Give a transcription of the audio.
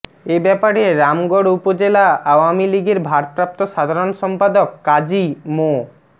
এ ব্যাপারে রামগড় উপজেলা আওয়ামী লীগের ভারপ্রাপ্ত সাধারণ সম্পাদক কাজী মো